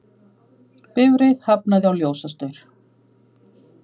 Bifreið hafnaði á ljósastaur